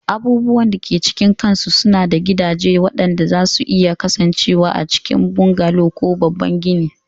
Abubuwan da ke cikin kansu suna da gidaje waɗanda zasu iya kasancewa a cikin bungalow ko babban gini